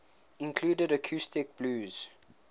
included acoustic blues